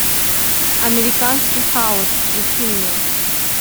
американский хаос включи мне